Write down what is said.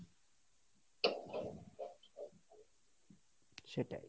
সেটাই,